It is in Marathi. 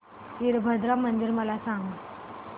वीरभद्रा मंदिर मला सांग